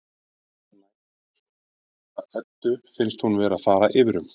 Þessar nætur eru svo erfiðar að Eddu finnst hún vera að fara yfir um.